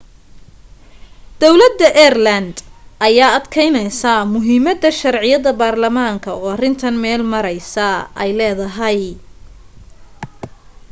dawlada ireland ayaa adkeynaysaa muhiimada sharciyad baarlamaan oo arintan meel maraysaa ay leedahay